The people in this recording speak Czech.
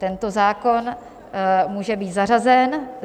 Tento zákon může být zařazen.